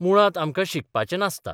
मुळांत आमकां शिकपाचें नासता.